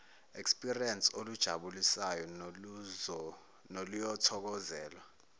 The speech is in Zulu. experience olujabulisayo noluyothokozelwa